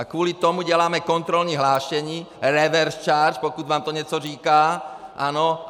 A kvůli tomu děláme kontrolní hlášení reverse charge - pokud vám to něco říká, ano?